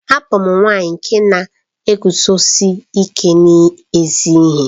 Abum nwanyi nke na-eguzosi ike n'ezi ihe.